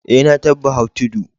Eh, na tabba hau tudu.